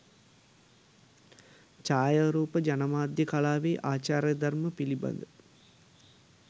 ජායාරූප ජනමාධ්‍ය කලාවේ ආචාර ධර්ම පිළිබඳ